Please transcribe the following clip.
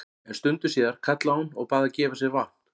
En stundu síðar kallaði hún og bað gefa sér vatn að drekka.